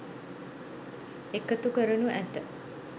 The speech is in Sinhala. එකතු කරනු ඇත